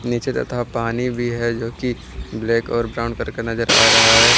नीचे तथा पानी भी है जो की ब्लैक और ब्राउन करके नजर आ रहा है।